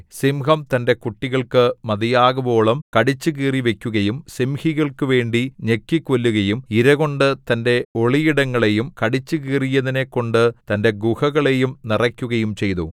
സിംഹം തന്റെ കുട്ടികൾക്ക് മതിയാകുവോളം കടിച്ചുകീറിവയ്ക്കുകയും സിംഹികൾക്കുവേണ്ടി ഞെക്കിക്കൊല്ലുകയും ഇരകൊണ്ടു തന്റെ ഒളിയിടങ്ങളെയും കടിച്ചുകീറിയതിനെക്കൊണ്ടു തന്റെ ഗുഹകളെയും നിറയ്ക്കുകയും ചെയ്തു